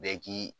Bɛɛ k'i